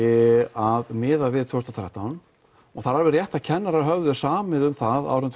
að miðað við tvö þúsund og þrettán og það er alveg rétt að kennarar höfðu samið um það árið